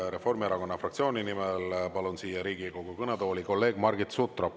Reformierakonna fraktsiooni nimel palun siia Riigikogu kõnetooli Margit Sutropi.